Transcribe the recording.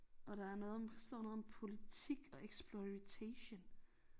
Og der er noget om står noget om politik og exploritation